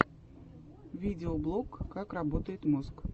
видеоблог как работает мозг